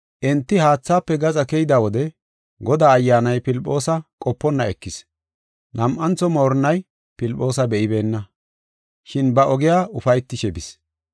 Enti haathaafe gaxa keyida wode Godaa ayyaanay Filphoosa qoponna ekis. Nam7antho moorinnay Filphoosa be7ibeenna, shin ba ogiya ufaytishe bis.